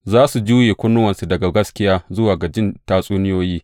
Za su juye kunnuwansu daga gaskiya zuwa ga jin tatsuniyoyi.